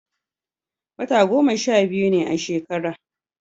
wata goma sha biyu ne a shekara